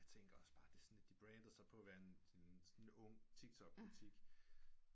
Jeg tænker også bare det er sådan lidt at de brander sig på at være en ung tiktok butik